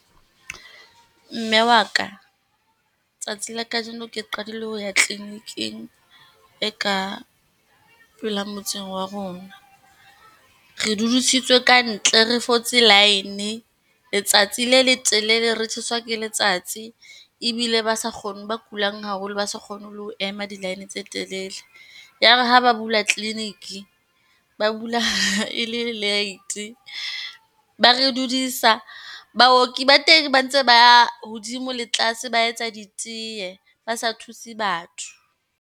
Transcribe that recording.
Mme wa ka, tsatsi la kajeno ke qadile ho ya kliniking e ka phela motseng wa rona. Re dudisitswe ka ntle, re fotse line letsatsi le letelele, re tjheswa ke letsatsi, ebile ba sa ba kulang haholo, ba sa kgoneng le ho ema di-line tse telele. Ya ba ha ba bula kliniki, ba bula e late, ba re dudisa baoki ba teng ba ntse ba ya hodimo le tlase, ba etsa diteye, ba sa thuse batho.